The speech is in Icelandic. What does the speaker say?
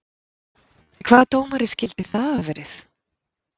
Hvaða dómari skyldi það hafa verið?